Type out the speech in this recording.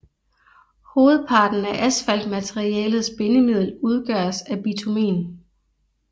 Hovedparten af asfaltmaterialets bindemiddel udgøres af bitumen